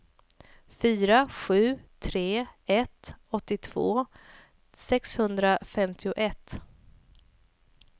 fyra sju tre ett åttiotvå sexhundrafemtioett